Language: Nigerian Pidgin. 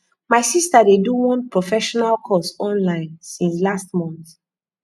my sister dey do one professional course online since last month